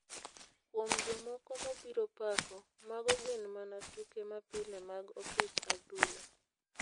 Kuom jomoko mobiro pako , mago gin mana tuke mapile mag opich odhula.